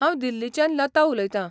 हांव दिल्लीच्यान लता उलयतां .